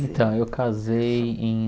Então, eu casei em